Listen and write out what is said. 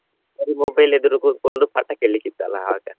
Mobile ಎದುರು ಕೂತ್ಕೊಂಡು ಪಾಠಾ ಕೆಳಲಿಕ್ಕ ಇತ್ತಲ್ಲಾ ಆವಾಗ.